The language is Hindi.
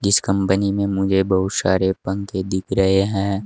इस कंपनी में मुझे बहुत सारे पंखे दिख रहे हैं।